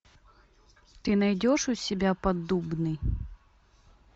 ты найдешь у себя поддубный